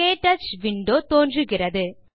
க்டச் window தோன்றுகிறது